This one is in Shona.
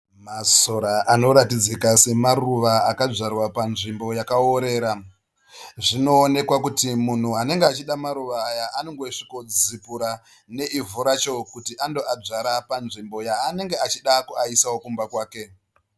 Masora anoratidzika semaruva akadzvarwa panzvimbo yakaorera. Zvinooeka kuti munhu anenge achida maruva aya anongosvikodzipura neivhu racho kuti andoadzvara panzvimbo yaanenge achida kuaisawo kumba kwake.